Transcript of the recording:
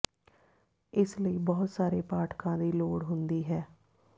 ਇਸ ਲਈ ਬਹੁਤ ਸਾਰੇ ਪਾਠਕਾਂ ਦੀ ਲੋੜ ਹੁੰਦੀ ਹੈ